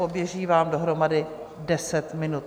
Poběží vám dohromady deset minut.